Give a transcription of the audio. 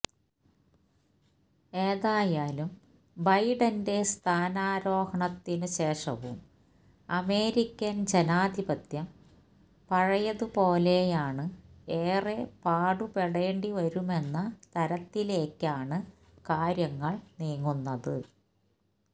ഏതായാലും ബൈഡന്റെ സ്ഥാനാരോഹണത്തിന് ശേഷവും അമേരിക്കന് ജനാധിപത്യം പഴയത് പോലെയാന് ഏറെ പാടുപെടേണ്ടിവരുമെന്ന തരത്തിലേക്കാണ് കാര്യങ്ങള് നീങ്ങുന്നത്